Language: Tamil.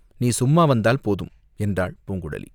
"நீ சும்மா வந்தால் போதும்!" என்றாள் பூங்குழலி.